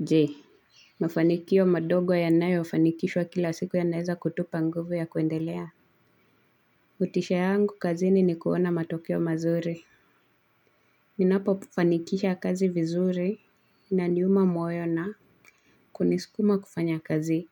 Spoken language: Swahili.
Je mafanikio madogo yanayofanikishwa kila siku yanaeza kutupa nguvu ya kuendelea motisha yangu kazini ni kuona matokeo mazuri. Ninapofanikisha kazi vizuri. Naniuma moyo na kunisukuma kufanya kazi